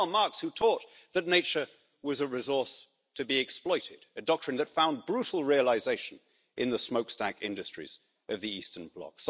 It was Karl Marx who taught that nature was a resource to be exploited, a doctrine that found brutal realisation in the smokestack industries of the Eastern bloc.